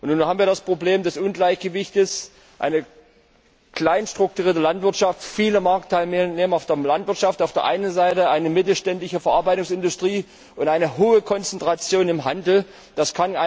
Nun haben wir das Problem des Ungleichgewichts eine klein strukturierte Landwirtschaft, viele Marktteilnehmer in der Landwirtschaft auf der einen Seite und eine mittelständische Verarbeitungsindustrie und eine hohe Konzentration im Handel auf der anderen.